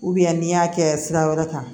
u bɛ n'i y'a kɛ sira wɛrɛ kan